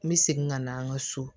N bɛ segin ka na an ka so